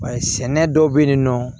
Bari sɛnɛ dɔw bɛ yen nɔ